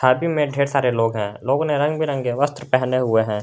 में ढेर सारे लोग है लोग ने रंग बिरंगे वस्त्र पहने हुए है।